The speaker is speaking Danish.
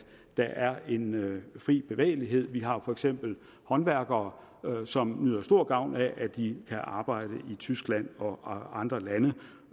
der er en fri bevægelighed vi har for eksempel håndværkere som nyder stor gavn af at de kan arbejde i tyskland og andre lande